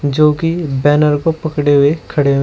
जो की बैनर को पकड़े हुए खड़े ह--